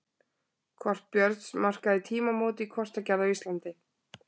Kort Björns markaði tímamót í kortagerð á Íslandi.